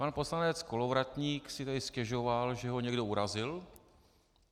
Pan poslanec Kolovratník si tady stěžoval, že ho někdo urazil.